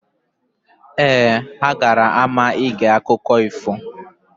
Ee, gara n'ama ige akụkọ ifo.